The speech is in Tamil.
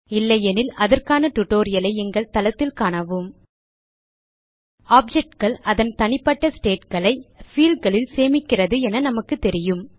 இல்லையெனில் அதற்கான tutorialஐ எங்கள் தளத்தில் காணவும் httpwwwspoken tutorialஆர்க் objectகள் அதன் தனிப்பட்ட stateகளை fieldகளில் சேமிக்கிறது என நமக்கு தெரியும்